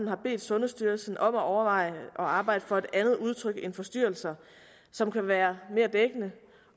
har bedt sundhedsstyrelsen om at overveje at arbejde for at andet udtryk end forstyrrelser som kan være mere dækkende